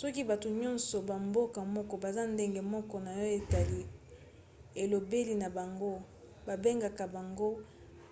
soki bato nyonso ya mboka moko baza ndenge moko na oyo etali elobeli na bango babengaka bango